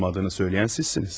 Olmadığını söyləyən sizsiniz.